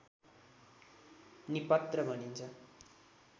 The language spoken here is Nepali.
निपत्र भनिन्छ